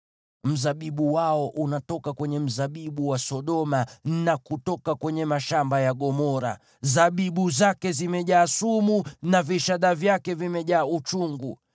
Mzabibu wao unatoka kwenye mzabibu wa Sodoma, na kutoka kwenye mashamba ya Gomora. Zabibu zake zimejaa sumu, na vishada vyake vimejaa uchungu.